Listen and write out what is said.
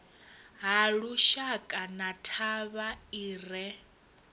halushaka na thavha i re